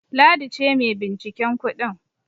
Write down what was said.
Ladi ce mai binciken kudin.